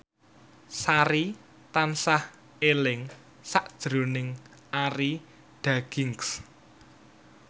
Sari tansah eling sakjroning Arie Daginks